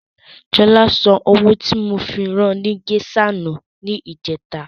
Ṣọlá sọ owó tí mo fi ran ni gésà nù ní ìjẹ́ta.